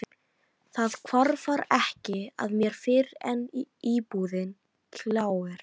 Það hvarflar ekki að mér fyrr en íbúðin gljáir.